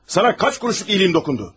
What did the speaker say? Sənə neçə qəpiklik yaxşılığım toxundu?